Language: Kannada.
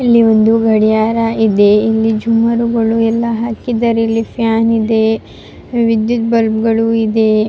ಇಲ್ಲಿ ಒಂದು ಗಡಿಯಾರ ಇದೆ ಇಲ್ಲಿ ಗಳು ಎಲ್ಲ ಹಾಕಿದ್ದಾರೆ ಇಲ್ಲಿ ಫ್ಯಾನ್ ಇದೆ ವಿದ್ಯುತ್ ಬಲ್ಪ್ ಗಳು ಇದೆ-